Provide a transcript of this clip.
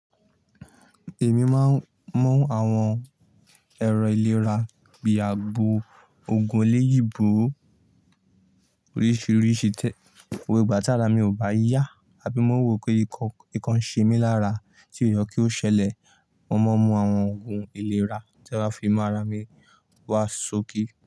Èmi máa ń mú àwọn ẹ̀rọ ìlera bí àgbo, òògùn eléyìíbo oríṣiríṣi tẹ. Gbogbo ìgbà tára mi ò bá yá àbí mo wo pé nǹkan ṣe mí lára tí ò ye kí ó ṣẹlẹ̀, mo máa ń mú àwọn òògùn ìlera tí a fi mu ara mi wá sókí.